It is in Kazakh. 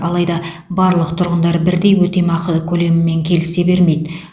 алайда барлық тұрғындар бірдей өтемақы көлемімен келісе бермейді